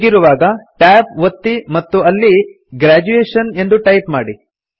ಹೀಗಿರುವಾಗ ಟ್ಯಾಬ್ ಒತ್ತಿ ಮತ್ತು ಅಲ್ಲಿ ಗ್ರ್ಯಾಜುಯೇಷನ್ ಎಂದು ಟೈಪ್ ಮಾಡಿ